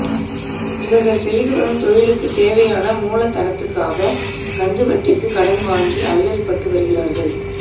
இவர்கள் செய்துவரும் தொழிலுக்குத் தேவையான மூலதனத்துக்காக கந்துவட்டிக்கு கடன் வாங்கி அல்லல்பட்டு வருகிறார்கள்